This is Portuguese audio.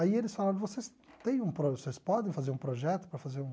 Aí eles falaram, vocês tem um pro vocês podem fazer um projeto para fazer um...